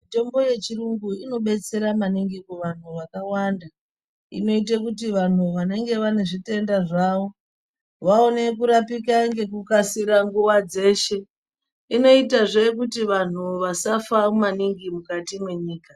Mitombo yechirungu inobetsera maningi kuvantu vakawanda. Inoita kuti vantu vanenge vane zvitenda zvavo vaone kurapika ngekukasira nguwa dzeshe. Inoita zve kuti vantu vasafa maningi mukati mwenyika.